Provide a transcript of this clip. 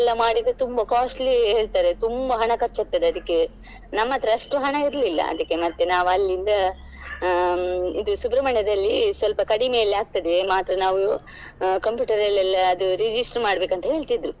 ಮಾಡಿದ್ರೆ ತುಂಬಾ costly ಹೇಳ್ತಾರೆ ತುಂಬಾ ಹಣ ಖರ್ಚಾಗ್ತದೆ ಅದಕ್ಕೆ ನಮ್ಮತ್ರ ಅಷ್ಟು ಹಣ ಇರ್ಲಿಲ್ಲ ಅದಕ್ಕೆ ಮತ್ತೆ ನಾವು ಅಲ್ಲಿಂದ ಹ್ಮ್‌ ಇದು ಸುಬ್ರಮಣ್ಯದಲ್ಲಿ ಸ್ವಲ್ಪ ಕಡಿಮೆಯಲ್ಲಿ ಆಗ್ತದೆ ಮಾತ್ರ ನಾವು computer ಅಲ್ಲೆಲ್ಲ ಅದು register ಮಾಡ್ಬೇಕು ಅಂತ ಹೇಳ್ತಿದ್ರು.